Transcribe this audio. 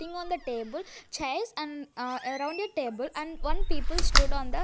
ting on the table chairs and a around the table and one people stood on the --